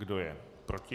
Kdo je proti?